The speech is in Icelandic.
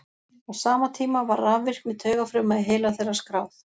á sama tíma var rafvirkni taugafruma í heila þeirra skráð